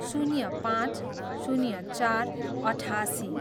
शून्य पाँच, शून्य चार, अठासी